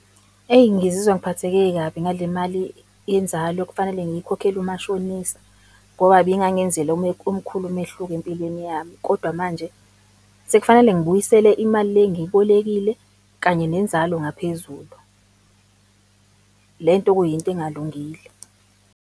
Eyi, ngizizwa ngiphatheke kabi ngale mali yenzalo okufanele ngiyikhokhele umashonisa ngoba ibingangenzela omkhulu umehluko empilweni yami. Kodwa manje sekufanele ngibuyisele imali le engiyibolekile kanye nenzalo ngaphezulu, le nto okuyinto engalungile.